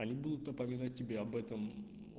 они будут напоминать тебе об этом